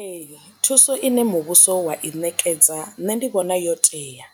Ee thuso ine muvhuso wa i ṋekedza nṋe ndi vhona yo tea